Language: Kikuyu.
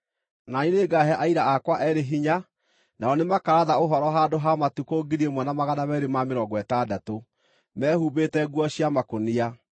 Na niĩ nĩngaahe aira akwa eerĩ hinya, nao nĩmakaratha ũhoro handũ ha matukũ 1,260 mehumbĩte nguo cia makũnia.”